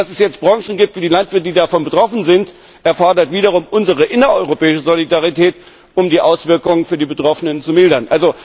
Dass es jetzt Branchen gibt wie die Landwirte, die davon betroffen sind, erfordert wiederum unsere innereuropäische Solidarität, um die Auswirkungen für die Betroffenen zu mildern.